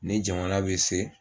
Ni jamana bɛ se